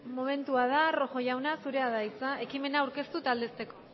txanda rojo andrea zurea da hitza ekimena aurkeztu eta aldezteko